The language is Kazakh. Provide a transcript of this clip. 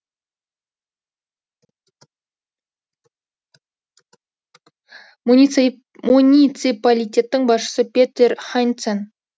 муниципалитеттің басшысы петер хайнцен